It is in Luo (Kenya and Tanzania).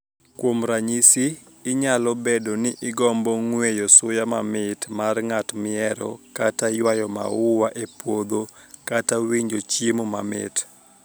Kuom raniyisi, niyalo bedo nii igombo nig'weyo suya mamit mar nig'at mihero, kata ywayo maua e puodho, kata winijo chiemo mamit.